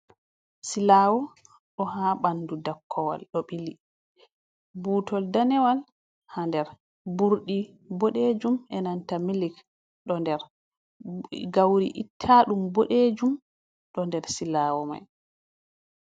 "Silawo do ha bandu dakkowal do ɓili butol danewal ha nder ɓurɗi bodejum enanta milik do nder gauri itta ɗum bodejum do nder silawo mai.